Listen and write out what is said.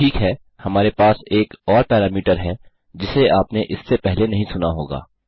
ठीक है हमारे पास एक और पैरामीटर है जिसे आपने इससे पहले नहीं सुना होगा